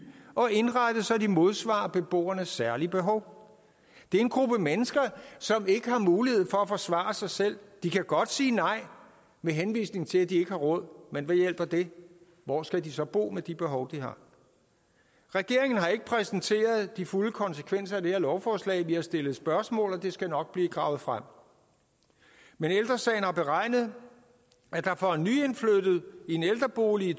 og indrettet så de modsvarer beboernes særlige behov det er en gruppe mennesker som ikke har mulighed for at forsvare sig selv de kan godt sige nej med henvisning til at de ikke har råd men hvad hjælper det hvor skal de så bo med de behov de har regeringen har ikke præsenteret de fulde konsekvenser af det her lovforslag vi har stillet spørgsmål og det skal nok blive gravet frem men ældre sagen har beregnet at der for en nyindflyttet i en ældrebolig i